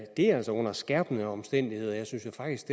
det er altså under skærpende omstændigheder jeg synes jo faktisk